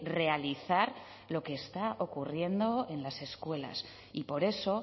realizar lo que está ocurriendo en las escuelas y por eso